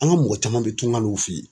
An ka mɔgɔ caman be tunga la u fe yen.